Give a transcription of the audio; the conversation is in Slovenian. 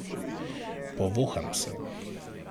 Povoham se.